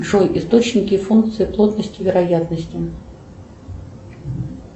джой источники функции плотности вероятности